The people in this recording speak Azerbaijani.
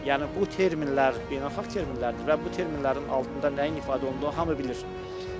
Yəni bu terminlər beynəlxalq terminlərdir və bu terminlərin altında nəyin ifadə olunduğunu hamı bilir.